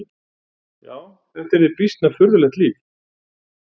Já, þetta yrði býsna furðulegt líf!